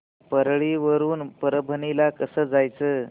परळी वरून परभणी ला कसं जायचं